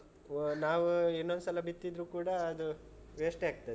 ನಾವು ಇನ್ನೊಂದ್ಸಲ ಬಿತ್ತಿದ್ರು ಕೂಡ ಅದು waste ಯೇ ಆಗ್ತದೆ.